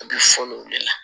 A bɛ fɔli o de la